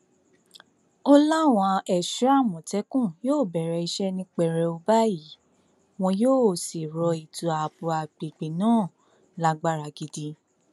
ó láwọn ẹṣọ àmọtẹkùn yóò bẹrẹ iṣẹ ní pẹrẹwu báyìí wọn yóò sì rọ ètò ààbò àgbègbè náà lágbára gidi